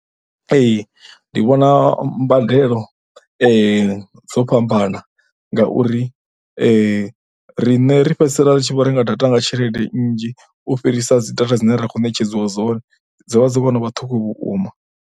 Ee, ndi vhona mbadelo dzo fhambana ngauri riṋe ri fhedzisela ri tshi vho renga data nga tshelede nnzhi u fhirisa dzi data dzine ra khou netshedziwa dzone, dzi vha dzo no vha ṱhukhu vhukuma.